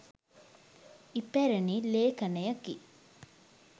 ඉපැරණි ලේඛණයකි.